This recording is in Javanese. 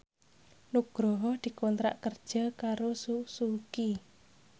Nugroho dikontrak kerja karo Suzuki